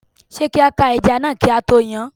Ṣé kí a ká ẹja náà kí a tó yán?